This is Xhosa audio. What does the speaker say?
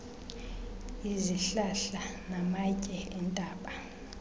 izihlahla namatye entaba